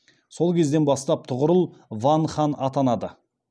сол кезден бастап тұғырыл ван хан атанады